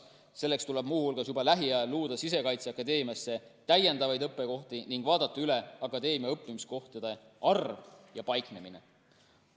Selleks tuleb muu hulgas juba lähiajal luua Sisekaitseakadeemiasse täiendavaid õppekohti ning vaadata üle akadeemia õppimiskohtade arv ja paiknemine.